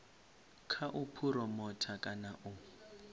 kha u phuromotha kana u